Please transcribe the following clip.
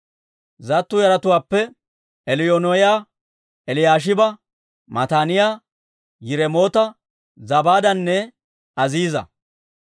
Zattu yaratuwaappe Eliyoo'enaaya, Eliyaashiba, Mataaniyaa, Yiremoota, Zabaadanne Aziiza.